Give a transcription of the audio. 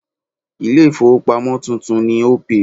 Ilé ìfowópamọ́ tuntun ni Opay.